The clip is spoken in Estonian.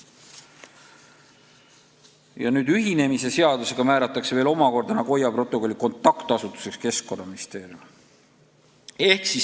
Ja nüüd määratakse ühinemise seadusega Nagoya protokolli kontaktasutuseks Keskkonnaministeerium.